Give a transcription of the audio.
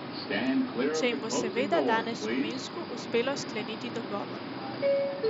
Če jim bo seveda danes v Minsku uspelo skleniti dogovor.